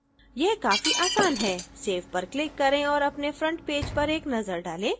यह काफी आसान है save पर click करें और अपने front पेज पर एक नजर डालें